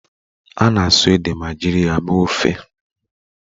A na-asụ ede ma jiri ya mee ofe